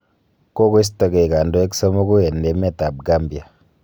Kogostoogei kondoik somogu en emet ab Gambia.